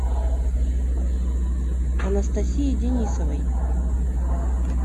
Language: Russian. анастасии денисовой